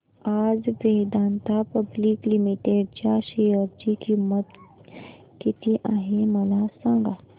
आज Vedanta public limited च्या share ची किंमत किती आहे मला सांगा